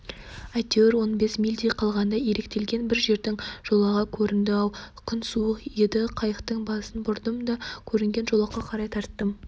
әйтеуір он бес мильдей қалғанда иректелген бір жердің жолағы көрінді-ау күн тынық еді қайықтың басын бұрдым да көрінген жолаққа қарай тарттым